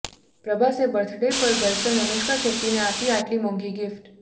પ્રભાસે birthday પર girlfriend Anushka શેટ્ટીને આપી આટલી મોંઘી ગિફ્ટ